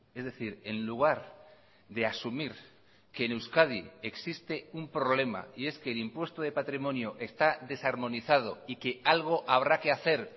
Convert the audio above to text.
es decir en lugar de asumir que en euskadi existe un problema y es que el impuesto de patrimonio está desarmonizado y que algo habrá que hacer